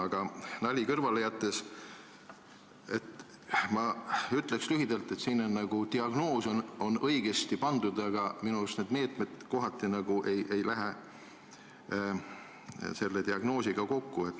Aga nalja kõrvale jättes ma ütleks lühidalt, et siin on diagnoos nagu õigesti pandud, aga minu arust meetmed kohati ei lähe selle diagnoosiga kokku.